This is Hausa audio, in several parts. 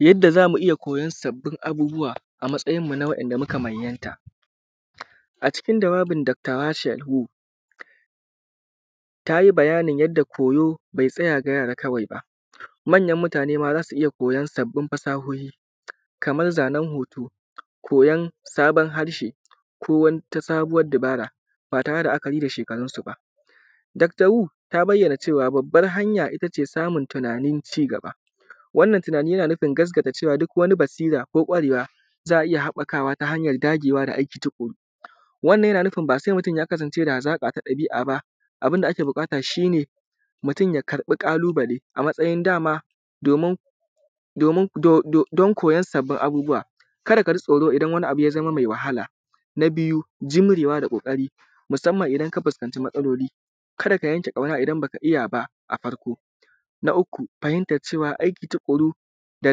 Yadda zamu iyya koyan sabbin abubuwa a matsayin mu na wanda suka manyan ta a cikin bayanin dakta hashedhu tayi bayanin yadda koyo bai tsaya ga yara kawai ba, manyan mutane ma zasu iyya koyon sabbin fasahohi kamar zanen hotu, koyon sabon harshe ko wata sabuwar dabara ba tare da la’akari da shekarun suba. dakta hu ta bayyana babbar hanya ittace samun tunanin cigaba wannan tunani yana nufin cewa duk wani basira ko kwarewa za’a iyya haɓɓakawa ta hanyan dagewa da aiki tuƙuru. Wannan yana nufin ba sai mutun ya kasance da hazaka ta ɗabi’a ba abunda ake buƙata shine mutun ya karɓi ƙalubale a matsayin dama domin dan koyon sabon abubuwa kada kaji tsoro idan abu ya zama mai wahala, na biyu jimrewa da koƙari musamman idan ka fuskaci matsaloli kada ka yanke ƙyauna idan baka iyya ba a farko. Na uku fahimtar cewa aiki tuƙuru da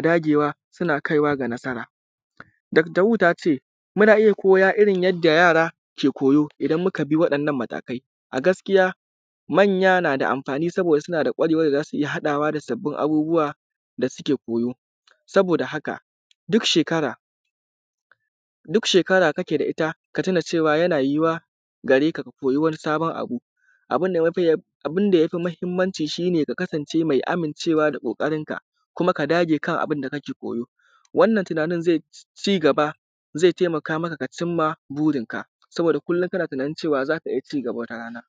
dagewa suna kaiwa ga nasaran dakta hu tace muna iyya koya yadda yara ke koyo idan mukabi waɗannan matakai a gaskiya manya nada amfani idan suka iyya haɗawa da sababbin abubuwa da suke koyo, sabo da haka duk shekara kake da itta yana yuwuwa gareka, ka koyi wani sabon abu abunda yafi mahimmanci shine ka kasan ce mai amin cewa da ƙoƙarin ka kuma ka dage kan abunda kake koyo, wannan tunanin zai cigaba zai taimaka maka ka cimma burin ka saboda kullum kana tunanin cewa zaka iyya cigaba wata rana.